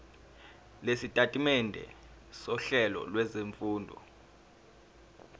lwesitatimende sohlelo lwezifundo